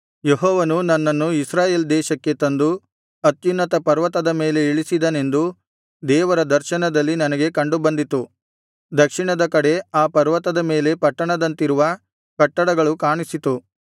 ಯೆಹೋವನು ನನ್ನನ್ನು ಇಸ್ರಾಯೇಲ್ ದೇಶಕ್ಕೆ ತಂದು ಅತ್ಯುನ್ನತ ಪರ್ವತದ ಮೇಲೆ ಇಳಿಸಿದನೆಂದು ದೇವರ ದರ್ಶನದಲ್ಲಿ ನನಗೆ ಕಂಡುಬಂದಿತು ದಕ್ಷಿಣದ ಕಡೆ ಆ ಪರ್ವತದ ಮೇಲೆ ಪಟ್ಟಣದಂತಿರುವ ಕಟ್ಟಡಗಳು ಕಾಣಿಸಿತು